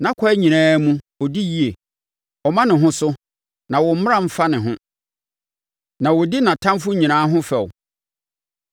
Nʼakwan nyinaa mu, ɔdi yie; ɔma ne ho so, na wo mmara mfa ne ho; na ɔdi nʼatamfoɔ nyinaa ho fɛw.